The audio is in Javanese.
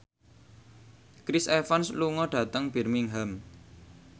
Chris Evans lunga dhateng Birmingham